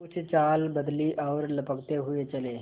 कुछ चाल बदली और लपकते हुए चले